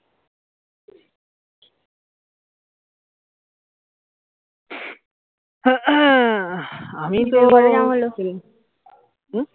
আমি তো হম